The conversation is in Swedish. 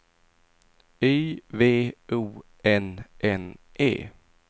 Y V O N N E